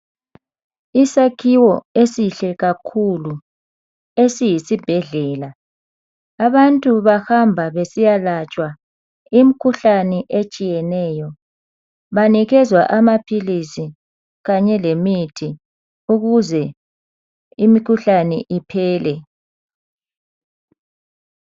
Isakhiwo esihle kakhulu esiyisi bhedlela abantu bahamba besiya latshwa imikhuhlane etshiyeneyo banikezwa amaphilisi kanye lemithi ukuze imikhuhlane iphele.